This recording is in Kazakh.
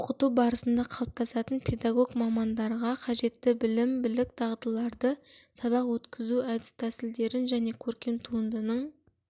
оқыту барысында қалыптасатын педагог мамандарға қажетті білім-білік дағдыларды сабақ өткізу әдіс тәсілдерін және көркем туындының